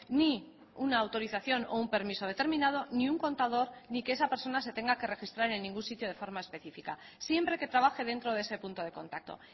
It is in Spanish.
ni una autorización o un permiso determinado ni un contador ni que esa persona se tenga que registrar en ningún sitio de forma específica siempre que trabaje dentro de ese punto de contacto